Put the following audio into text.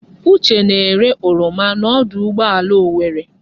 Uche na-ere oroma n'ọdụ ụgbọala Owerre.